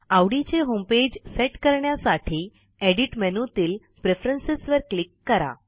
आवडीचे homepage set करण्यासाठी edit मेनूतील प्रेफरन्स वर क्लिक करा